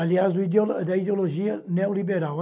Aliás, da ideo da ideologia neoliberal.